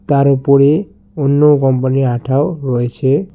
তার ওপরে অন্য কোম্পানি -র আঠাও রয়েছে।